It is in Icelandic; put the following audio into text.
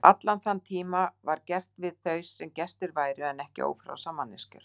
Allan þann tíma var gert við þau sem gestir væru en ekki ófrjálsar manneskjur.